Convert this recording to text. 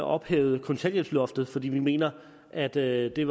ophævet kontanthjælpsloftet for vi mener at det det